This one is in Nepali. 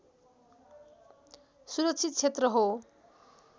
सुरक्षित क्षेत्र हो